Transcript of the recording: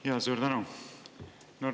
Jaa, suur tänu!